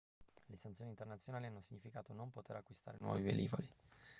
le sanzioni internazionali hanno significato non poter acquistare nuovi velivoli